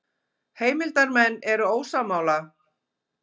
Heimildarmenn eru ósammála